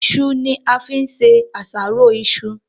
iṣu ni a fín ṣe àṣàrò iṣu.